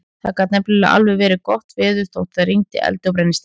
Það gat nefnilega alveg verið gott veður þótt það rigndi eldi og brennisteini.